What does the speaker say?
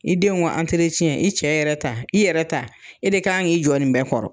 I denw ka i cɛ yɛrɛ ta, i yɛrɛ ta, e de kan k'i jɔ nin bɛɛ kɔrɔ.